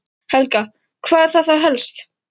Helga: Hvað er það þá helst?